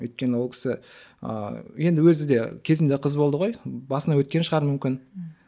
өйткені ол кісі ыыы енді өзі де кезінде қыз болды ғой басынан өткен шығар мүмкін ммм